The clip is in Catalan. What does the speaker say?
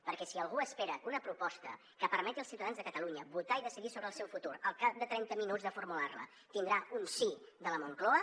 perquè si algú espera que una proposta que permeti als ciutadans de catalunya votar i decidir sobre el seu futur al cap de trenta minuts de formular la tindrà un sí de la moncloa